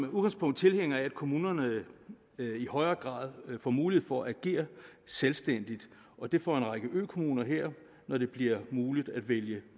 udgangspunkt tilhænger af at kommunerne i højere grad får mulighed for at agere selvstændigt og det får en række økommuner her når det bliver muligt at vælge